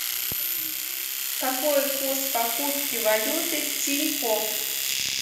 какой курс покупки валюты в тинькофф